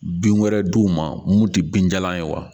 Bin wɛrɛ d'u ma mun ti binjalan ye wa